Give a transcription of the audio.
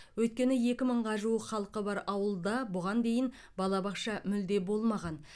өйткені екі мыңға жуық халқы бар ауылда бұған дейін балабақша мүлде болмаған